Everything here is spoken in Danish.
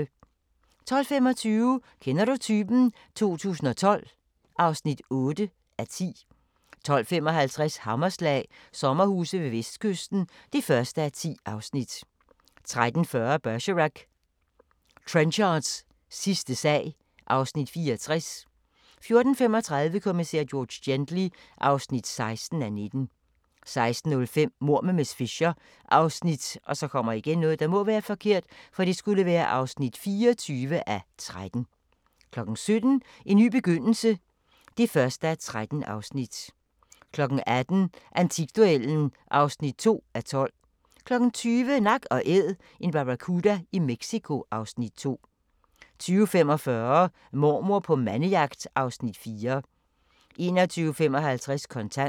12:25: Kender du typen? 2012 (8:10) 12:55: Hammerslag – sommerhuse ved Vestkysten (1:10) 13:40: Bergerac: Trenchards sidste sag (Afs. 64) 14:35: Kommissær George Gently (16:19) 16:05: Mord med miss Fisher (24:13) 17:00: En ny begyndelse (1:13) 18:00: Antikduellen (2:12) 20:00: Nak & Æd – en barracuda i Mexico (Afs. 5) 20:45: Mormor på mandejagt (Afs. 4) 21:55: Kontant